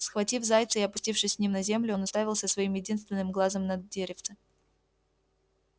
схватив зайца и опустившись с ним на землю он уставился своим единственным глазом на деревце